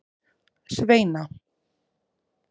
Sveina